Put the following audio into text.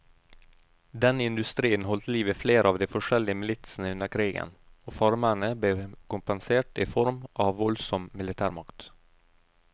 Denne industrien holdt liv i flere av de forskjellige militsene under krigen, og farmerne ble kompensert i form av voldsom militærmakt.